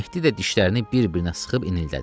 Mehdi də dişlərini bir-birinə sıxıb inildədi.